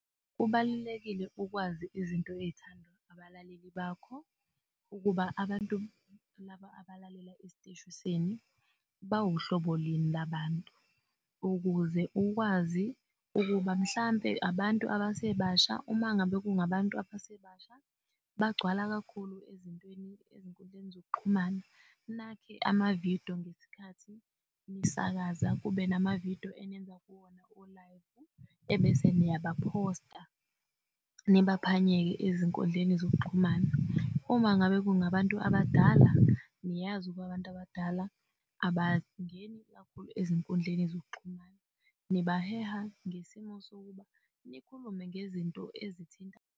Kubalulekile ukwazi izinto ey'thandwa abalaleli bakho ukuba abantu laba abalalela esiteshu senu bawuhlobo lini labantu, ukuze ukwazi ukuba mhlampe abantu abasebasha uma ngabe kungabantu abasebasha bagcwala kakhulu ezintweni ezinkundleni zokuxhumana nakhe amavidiyo ngesikhathi nisakaza kube namavidiyo enenza kuwona olayivu, ebese niyabaphosta nibaphanyeke ezinkundleni zokuxhumana. Uma ngabe kungabantu abadala, niyazi ukuba abantu abadala abangeni kakhulu ezinkundleni zokuxhumana nibaheha ngesimo sokuba nikhulume ngezinto ezithinta.